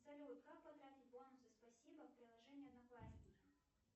салют как потратить бонусы спасибо в приложении одноклассники